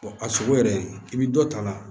a sogo yɛrɛ i bɛ dɔ ta a la